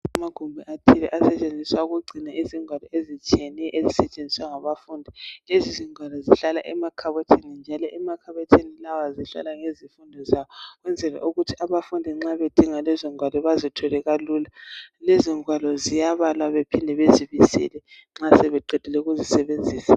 Kumagumbi athile. Asetshenziswa ukugcina izingwalo, ezitshiyeneyo ezisetshenziswa ngabafundi. Lezizingwalo zihlala emakhabothini, njalo emakhabothini lawa zihlala ngezifundo zawo. Ukwenzela ukuthi abafundi nxa bedinga lezingwalo, bazithole kalula. Lezingwalo ziyabalwa bephinde bezibisele nxa sebeqedile ukuzisebenzisa.